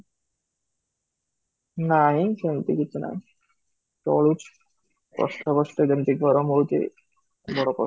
ନାହିଁ ସେମିତି କିଛି ନାହିଁ, ଚଳୁଛି, କଷ୍ଟ କଷ୍ଟ ଯେମିତି ଗରମ ହୋଉଛି, ବଡ଼ କ